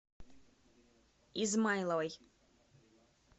измайловой